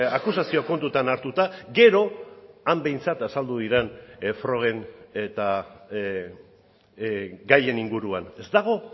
akusazio kontutan hartuta gero han behintzat azaldu diren frogen eta gaien inguruan ez dago